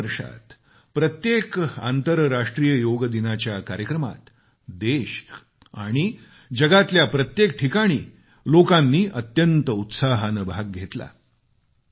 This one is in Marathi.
गेल्या तीन वर्षात प्रत्येक आंतरराष्ट्रीय योगदिनाच्या कार्यक्रमात देश आणि जगातल्या प्रत्येक ठिकाणी लोकांनी अत्यंत उत्साहाने सहभाग घेतला